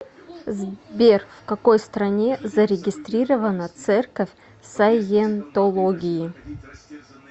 сбер в какой стране зарегистрирована церковь саентологии